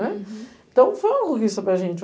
Então, foi uma conquista para a gente.